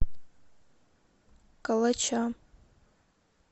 калача